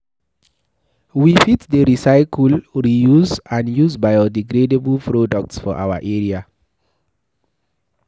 We fit dey recycle, reuse and use bio-degradable products for our area